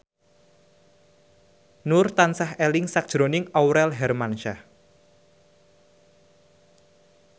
Nur tansah eling sakjroning Aurel Hermansyah